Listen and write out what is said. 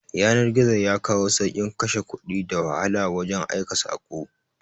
Yanar-gizo yakawo saukin Ƙashe Ƙudi da wahala wajan aika sako